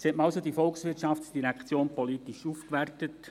Nun hat man also die VOL politisch aufgewertet.